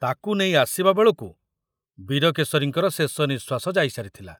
ତାକୁ ନେଇ ଆସିବା ବେଳକୁ ବୀରକେଶରୀଙ୍କର ଶେଷ ନିଶ୍ବାସ ଯାଇ ସାରିଥିଲା।